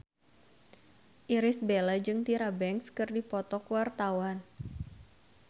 Irish Bella jeung Tyra Banks keur dipoto ku wartawan